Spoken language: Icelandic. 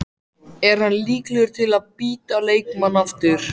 Er hann líklegur til að bíta leikmann aftur?